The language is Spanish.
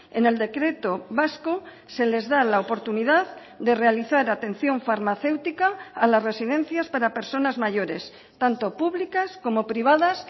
en el decreto vasco se les da la oportunidad de realizar atención farmacéutica a las residencias para personas mayores tanto públicas como privadas